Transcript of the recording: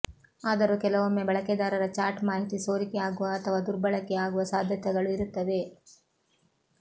ಆದರೂ ಕೆಲವೊಮ್ಮೆ ಬಳಕೆದಾರರ ಚಾಟ್ ಮಾಹಿತಿ ಸೋರಿಕೆ ಆಗುವ ಅಥವಾ ದುರ್ಬಳಕೆ ಆಗುವ ಸಾಧ್ಯತೆಗಳು ಇರುತ್ತವೆ